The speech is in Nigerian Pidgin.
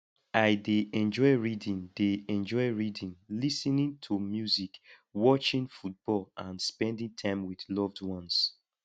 i dey enjoy reading dey enjoy reading lis ten ing to music watching football and spending time with loved ones